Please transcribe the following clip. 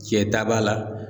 Cɛ ta b'a la.